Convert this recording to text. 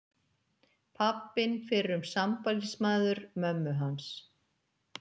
Pabbinn fyrrum sambýlismaður mömmu hans.